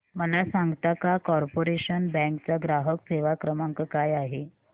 मला सांगता का कॉर्पोरेशन बँक चा ग्राहक सेवा क्रमांक काय आहे